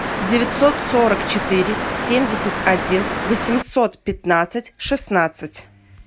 девятьсот сорок четыре семьдесят один восемьсот пятнадцать шестнадцать